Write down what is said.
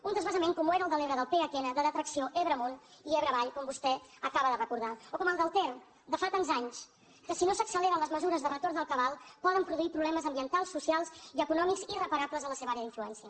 un transvasament com ho era el de l’ebre del pnh de detracció ebre amunt i ebre avall com vostè acaba de recordar o com el del ter de fa tants anys que si no s’acceleren les mesures de retorn del cabal poden produir problemes ambientals socials i econòmics irreparables a la seva àrea d’influència